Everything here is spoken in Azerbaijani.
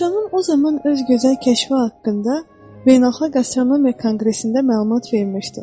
Astronom o zaman öz gözəl kəşfi haqqında Beynəlxalq Astronomiya Konqresində məlumat vermişdi.